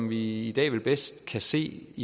vi i dag vel bedst kan se